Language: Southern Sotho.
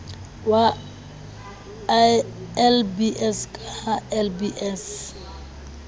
wa lbs ka ha lbs